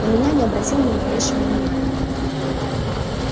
на меня не обратил ни малейшего внимания